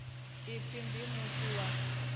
u pfi ndi muthu wa